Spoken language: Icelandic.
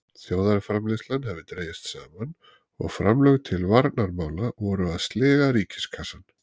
Þjóðarframleiðslan hafði dregist saman og framlög til varnarmála voru að sliga ríkiskassann.